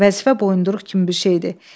Vəzifə boyunduruq kimi bir şeydir.